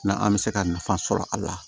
N'an bɛ se ka nafa sɔrɔ a la